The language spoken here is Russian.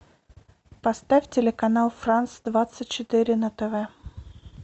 поставь телеканал франс двадцать четыре на тв